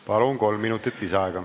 Palun, kolm minutit lisaaega!